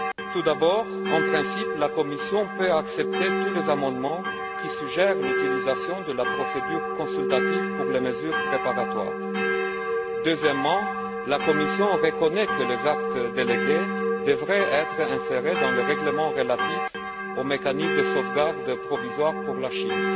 Tout d'abord, en principe, la Commission peut accepter tous les amendements qui suggèrent l'utilisation de la procédure consultative pour les mesures préparatoires. Deuxièmement, la Commission reconnaît que les actes délégués devraient être insérés dans le règlement relatif aux mécanismes de sauvegarde provisoire pour la Chine.